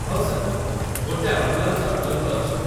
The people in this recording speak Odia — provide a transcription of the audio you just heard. ହଁ ସାର୍, ଗୋଟେ ଆମ୍ବୁଲାନ୍ସ ଆଭେଲେବଲ୍‌ ଅଛି।